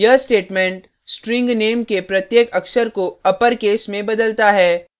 यह statement string name के प्रत्येक अक्षर को अपरकेस में बदलता है